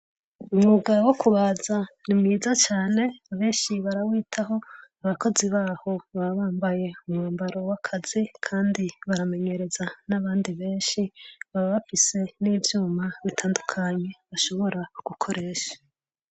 Umwuga wo kubaza ni mwiza cane benshi barawitaho ,abakozi baho baba bambaye umwambaro w'akazi Kandi baramenyereza n'abandi benshi baba bafise n'ivyuma bitandukanye bashobora gukoresha.